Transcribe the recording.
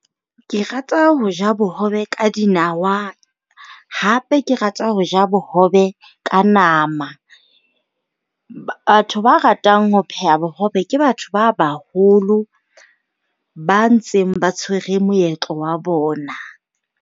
Ke rata ho ja bohobe ka dinawa. Hape ke rata ho ja bohobe ka nama. Batho ba ratang ho pheha bohobe ke batho ba baholo ba ntseng ba tshwere moetlo wa bona.